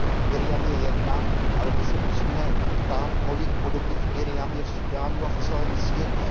Marjam je jedna, ale my se musíme ptát, kolik podobných Marjam je v Súdánu a v celém světě?